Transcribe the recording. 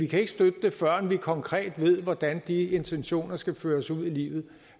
kan støtte det førend man konkret ved hvordan de intentioner skal føres ud i livet